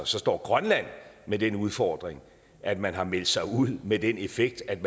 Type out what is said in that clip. så står grønland med den udfordring at man har meldt sig ud med den effekt at